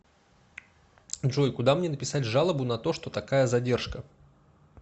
джой куда мне написать жалобу на то что такая задержка